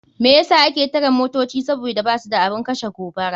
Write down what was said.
Me yasa ake tare motoci sabida basu da abun kashe gobara.